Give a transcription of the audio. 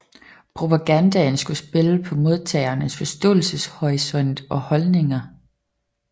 Propagandaen skulle spille på modtagerens forståelseshorisont og holdninger